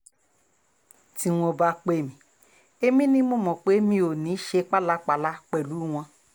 tí wọ́n bá pè mí èmi ni mo mọ̀ pé mi ò ní í ṣe pálapàla pẹ̀lú wọn